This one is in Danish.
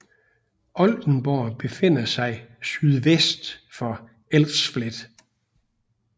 Oldenburg befinder sig sydvest for Elsfleth